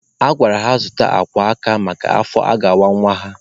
A gwara ha zụta akwa aka maka afọ a ga-awa nwa ha.